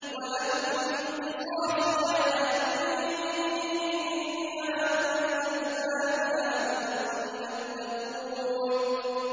وَلَكُمْ فِي الْقِصَاصِ حَيَاةٌ يَا أُولِي الْأَلْبَابِ لَعَلَّكُمْ تَتَّقُونَ